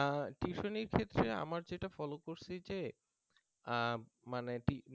আহ tuition নির ক্ষেত্রে আমার যেটা ফলো করছি যে আহ